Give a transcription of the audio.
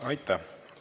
Aitäh!